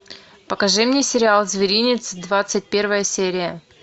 покажи мне сериал зверинец двадцать первая серия